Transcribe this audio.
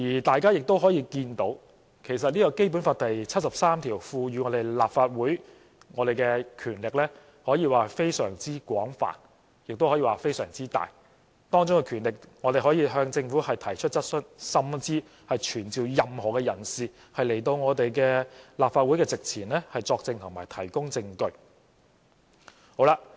大家可以看到，其實《基本法》第七十三條賦予立法會的權力，可說是十分廣泛和巨大，當中的權力包括我們可以向政府提出質詢，甚至傳召任何人士來到立法會席前作證及提供證據。